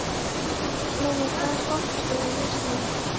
Glói, hvaða stoppistöð er næst mér?